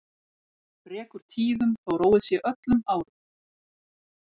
Rekur tíðum þó róið sé öllum árum.